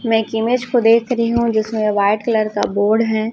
मे एक इमेज को देख रही हूं जिसमें व्हाइट कलर का बोर्ड है।